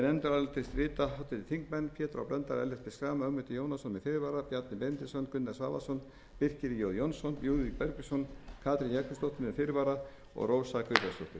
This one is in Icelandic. nefndarálitið rita háttvirtir þingmenn pétur h blöndal ellert b schram ögmundur jónasson með fyrirvara bjarni benediktsson gunnar svavarsson birkir j jónsson lúðvík bergvinsson katrín jakobsdóttir með fyrirvara og rósa guðbjartsdóttir